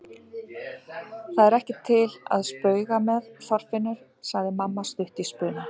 Það er ekki til að spauga með, Þorfinnur! sagði amma stutt í spuna.